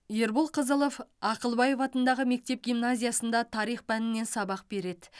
ербол қазылов ақылбаев атындағы мектеп гимназиясында тарих пәнінен сабақ береді